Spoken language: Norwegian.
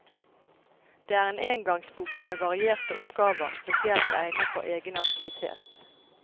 Det er en engangsbok med varierte oppgaver spesielt egnet for egenaktivitet.